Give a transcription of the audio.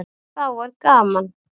Þá er gaman.